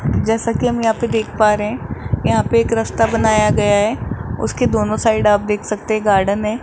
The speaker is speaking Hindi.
जैसा की हम देख पा रहे है यहाँ पे एक रास्ता बनाया गया है उसके दोनों साइड आप देख सकते हैं गार्डन है।